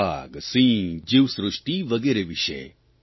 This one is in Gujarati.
વાઘ સિંહ જીવસૃષ્ટિ વગેરે વિષે